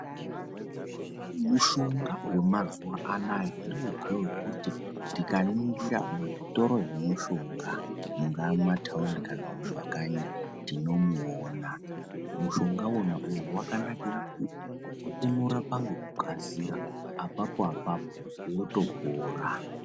Mushonga wemazuwa anaya ndiwozve wekuti tikaningira muzvitoro zvemushonga mungaa mumathaundi kana mumakanyi tinomuona. Mushonga uyu wakanakira kuti unorapa ngekukasira apapo apapo unotopora.